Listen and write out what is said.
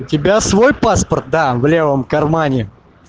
у тебя свой паспорт да в левом кармане